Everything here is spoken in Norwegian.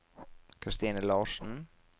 Kristine Larsen